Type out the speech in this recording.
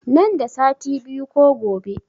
Nan da sati biyu ko gobe